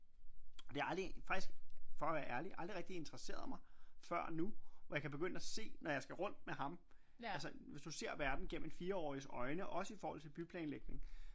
Og det har aldrig faktisk for og være ærlig aldrig rigtig interesseret mig før nu hvor jeg kan begynde at se når jeg skal rundt med ham altså hvis du ser verden gennem en 4-årigs øjne også i forhold til byplanlægning